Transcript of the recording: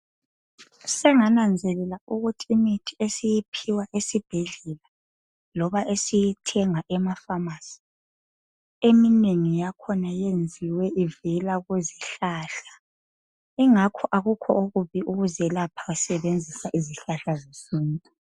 Sengananzelela ukuthi imithi esiyiphiwa esibhedlela loba esiyithenga emafamasi eminengi yakhona yenziwe ivela kuzihlahla, ingakho akukho okubi ukuzelapha usebenzisa izihlahla zesintu.